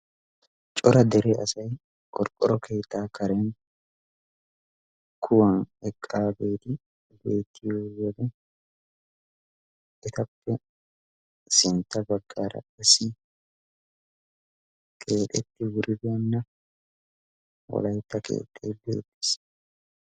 cora dere asay qorqqoro keettaa karen kuwan eqqaa beeti beettiyo wode etappe sintta baggaara issi keexetti wuribeenna wolaytta keettay keexxeedi uttiis